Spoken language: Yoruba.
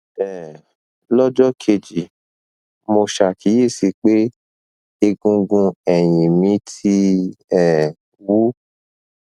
um lọjọ kejì mo ṣàkíyèsí pé egungun ẹyìn mi ti um wú